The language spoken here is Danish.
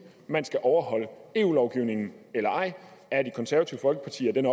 man skal overholde eu lovgivningen eller ej er det konservative folkeparti af den